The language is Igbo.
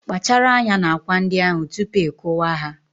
Kpachara anya na akwa ndị ahụ tupu ị kuwa ha